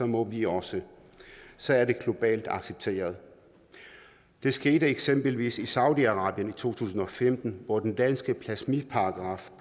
må de også så er det globalt accepteret det skete eksempelvis i saudi arabien i to tusind og femten hvor den danske blasfemiparagraf